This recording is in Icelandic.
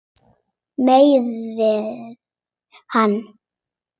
Meiðir hann.